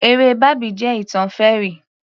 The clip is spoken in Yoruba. Eré bábì jẹ́ ìtàn fairy